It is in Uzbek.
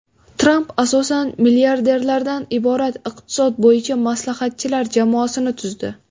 Tramp asosan milliarderlardan iborat iqtisod bo‘yicha maslahatchilar jamoasini tuzdi.